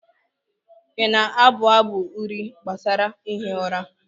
ị na-abụ abụ uri gbasara ihi ụra?